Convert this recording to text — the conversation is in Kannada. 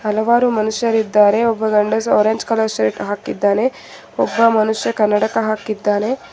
ಹಲವಾರು ಮನುಷ್ಯರಿದ್ದಾರೆ ಒಬ್ಬ ಗಂಡಸು ಆರೆಂಜ್ ಕಲರ್ ಶರ್ಟ್ ಹಾಕಿದ್ದಾನೆ ಒಬ್ಬ ಮನುಷ್ಯ ಕನ್ನಡಕ ಹಾಕಿದ್ದಾನೆ.